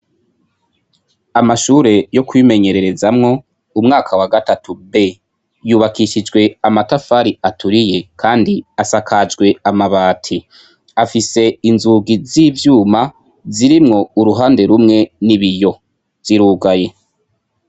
Amashure yo kwimenyererezamwo, umwaka wa gatatu B. Yubakishijwe amatafari aturiye kandi asakajwe amabati. Afise inzugi z'ivyuma, zirimwo uruhande rumwe n'ibiyo. Zirugaye.